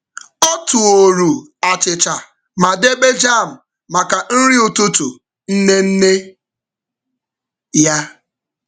Ọ tooru achịcha ma debe jam maka nri ụtụtụ nne nne ya.